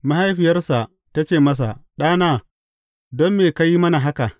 Mahaifiyarsa ta ce masa, Ɗana, don me ka yi mana haka?